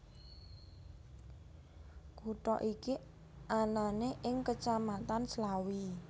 Kutha iki anane ing Kecamatan Slawi